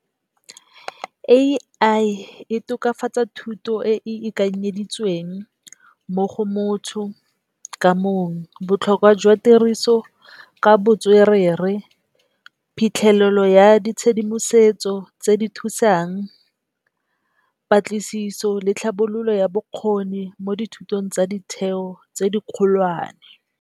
A_I e tokafatsa thuto e e lekanyeditsweng mo go motho ka mong. Botlhokwa jwa tiriso ka botswerere, phitlhelelo ya ditshedimosetso tse di thusang, patlisiso le tlhabololo ya bokgoni mo dithutong tsa ditheo tse di kgolwane.